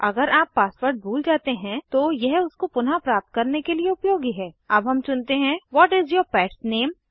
अगर आप पासवर्ड भूल जाते हैं तो यह उसको पुनः प्राप्त करने के लिए उपयोगी है अब हम चुनते हैं what is your pet's name